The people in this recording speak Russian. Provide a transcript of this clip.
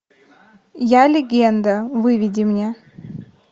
я легенда выведи мне